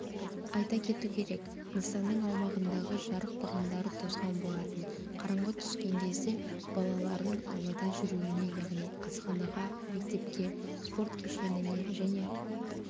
айта кету керек нысанның аумағындағы жарық бағандары тозған болатын қараңғы түскен кезде балалардың аулада жүруіне яғни асханаға мектепке спорт кешеніне және